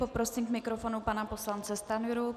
Poprosím k mikrofonu pana poslance Stanjuru.